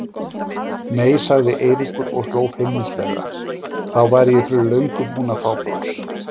Nei sagði Eiríkur og hló feimnislega, þá væri ég fyrir löngu búinn að fá pláss.